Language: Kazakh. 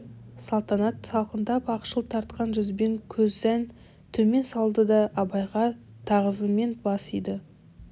салтанат салқындап ақшыл тартқан жүзбен көзән төмен салды да абайға тағзыммен бас иді